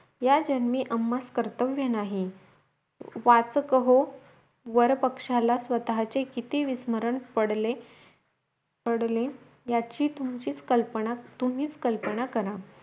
या जन्मी आम्हास कर्तव्य नाही वाचकहो वरपक्ष्याला स्वतःचे किती विस्मरण पडले पडले याची तुमचीच कल्पना तुम्हीच कल्पना करा